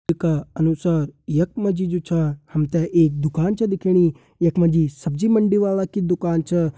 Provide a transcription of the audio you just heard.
का अनुसार यख मा जी जु छा हम ते एक दुकान छा दिखेणी यख मा जी सब्जी मंडी वाला कि दुकान छा।